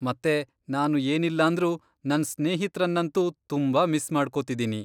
ಮತ್ತೆ ನಾನು ಏನಿಲ್ಲಾಂದ್ರೂ ನನ್ ಸ್ನೇಹಿತ್ರನ್ನಂತೂ ತುಂಬಾ ಮಿಸ್ ಮಾಡ್ಕೊತಿದೀನಿ.